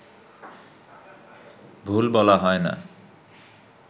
ভুল বলা হয় না